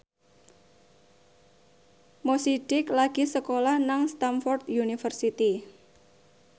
Mo Sidik lagi sekolah nang Stamford University